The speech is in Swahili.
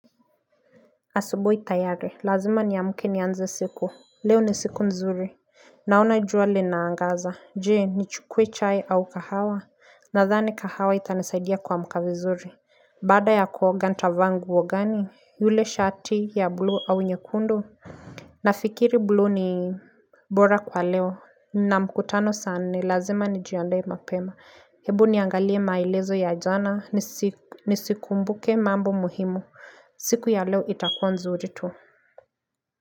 Asubui tayari, lazima ni amuke ni anze siku, leo ni siku nzuri Naona jua linaangaza, jee, ni chukwe chai au kahawa Nathani kahawa itanesaidia kuamka vizuri Bada ya kuoga nitava nguo gani, ile shati ya blue au nyekundu Nafikiri blue ni bora kwa leo, na mkutano saa nne, lazima nijiandae mapema Ebu niangalie maelezo ya jana, nisikumbuke mambo muhimu siku ya leo itakuwa nzuri tu.